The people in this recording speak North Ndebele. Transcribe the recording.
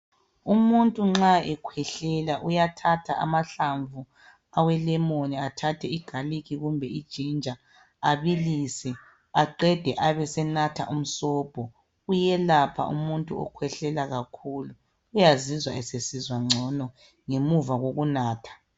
Umuntu nxa ekhwehlela uyathatha amahlamvu awelemoni athathe igalikhi kumbe iginger abilisi aqende abesenatha umsobho. Kuyelapha umuntu okhwehlela kakhulu uyazizwa esesizwa gcono ngemuva kokunatha.